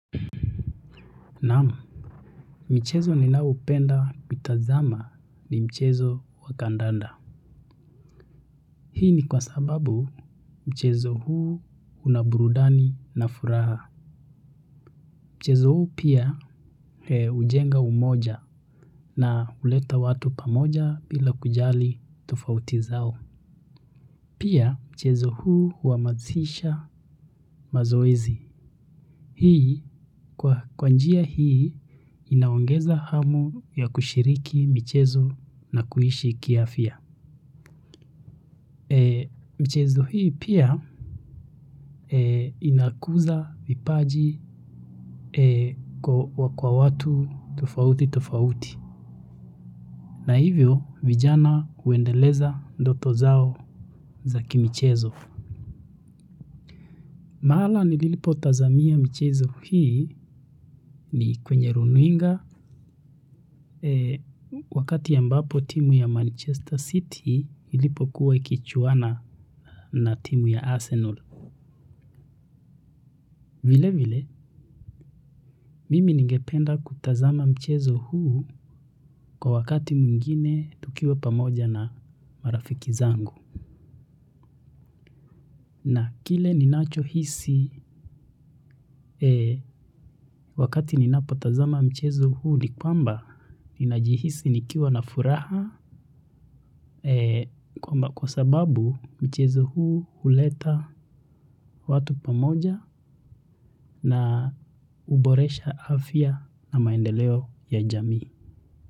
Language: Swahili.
Naam, michezo ninaoupenda kutazama ni mchezo wa kandanda. Hii ni kwa sababu mchezo huu una burudani na furaha. Mchezo huu pia hujenga umoja na huleta watu pamoja bila kujali tofauti zao. Pia mchezo huu huamasisha mazoezi. Hii kwa kwa njia hii inaongeza hamu ya kushiriki michezo na kuishi kiafya. Mchezo hii pia inakuza vipaji kwa kwa watu tofauti tofauti. Na hivyo, vijana uendeleza ndoto zao za kimichezo. Mahala nililipo tazamia michezo hii ni kwenye rununga. Wakati ambapo timu ya Manchester City ilipo kuwa ikichuana na timu ya Arsenal. Vile vile, mimi ningependa kutazama mchezo huu kwa wakati mwingine tukiwa pamoja na marafiki zangu. Na kile ninacho hisi wakati ninapo tazama mchezo huu ni kwamba, ninajihisi nikiwa na furaha kwa sababu mchezo huu uleta watu pamoja na uboresha afya na maendeleo ya jamii.